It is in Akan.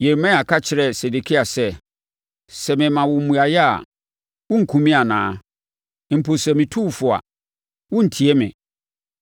Yeremia ka kyerɛɛ Sedekia sɛ, “Sɛ mema wo mmuaeɛ a, worenkum me anaa? Mpo sɛ metu wo fo a, worentie me.”